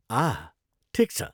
आह! ठिक छ।